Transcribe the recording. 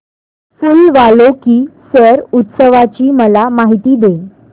फूल वालों की सैर उत्सवाची मला माहिती दे